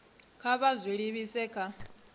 kha vha zwi livhise kha